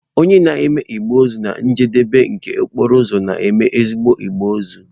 Onye na-eme igbe ozu na njedebe nke okporo ụzọ, na-eme ezigbo igbe ozu.